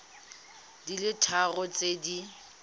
di le tharo tse di